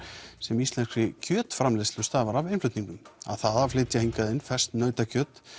sem íslenskri kjötframleiðslu stafar af innflutningi að það að flytja hingað inn ferskt nautakjöt